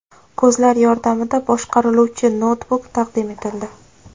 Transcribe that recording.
Ko‘zlar yordamida boshqariluvchi noutbuk taqdim etildi.